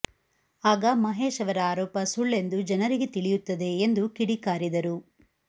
ಆಗ ಮಹೇಶ್ ಅವರ ಆರೋಪ ಸುಳ್ಳೆಂದು ಜನರಿಗೆ ತಿಳಿಯುತ್ತದೆ ಎಂದು ಕಿಡಿಕಾರಿದರು